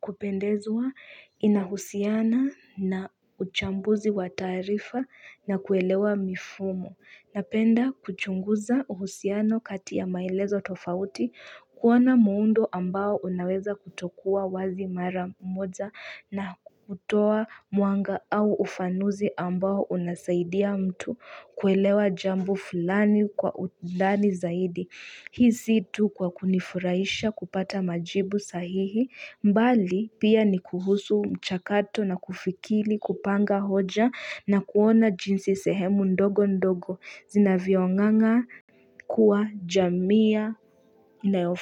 kupendezwa inahusiana na uchambuzi wa taarifa na kuelewa mifumo. Napenda kuchunguza uhusiano kati ya maielezo tofauti, kuona muundo ambao unaweza kutokuwa wazi maramoja na kutoa mwanga au ufanuzi ambao unasaidia mtu kuelewa jambo fulani kwa undani zaidi. Hii si tu kwa kunifurahisha kupata majibu sahihi mbali pia ni kuhusu mchakato na kufikiri kupanga hoja na kuona jinsi sehemu ndogo ndogo zinavyonganga kuwa jamii.